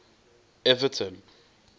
everton